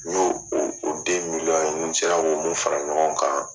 N y'o o de miliyɔn in n sera k'o mun fara ɲɔgɔn kan